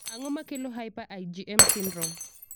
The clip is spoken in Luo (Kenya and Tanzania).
Ang'o makelo hyper IgM syndrome?